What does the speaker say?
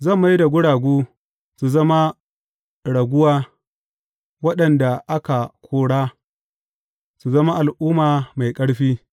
Zan mai da guragu su zama raguwa, waɗanda aka kora, su zama al’umma mai ƙarfi.